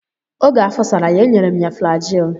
Oge afọ sara ya, e nyere m ya flajil.